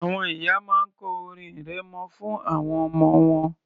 Àwọn ìyá máa ń kọ orin arẹmọ fún àwọn ọmọ wọn